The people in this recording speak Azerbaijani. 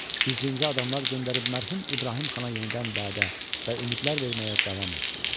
Gizlincə adamlar göndərib mərhum İbrahim xana yenidən vədə və ümidlər verməyə davam etdilər.